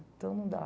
Então não dá.